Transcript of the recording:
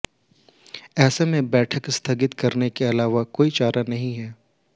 ऐसे में बैठक स्थगित करने के अलावा कोई और चारा नहीं है